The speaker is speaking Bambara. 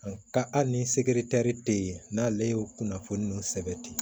Nka hali ni segi taari tɛ yen n'ale y'o kunnafoni ninnu sɛbɛn ten